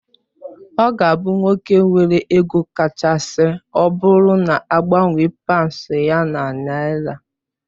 Ọ ga abụ nwoke nwere ego kachasị ọbụrụ na agbanwe paunds ya na naira.